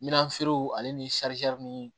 Minanfiriw ale ni ni